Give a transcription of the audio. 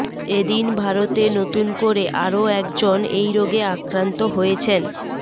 এদিন ভারতে নতুন করে আরও একজন এই রোগে আক্রান্ত হয়েছেন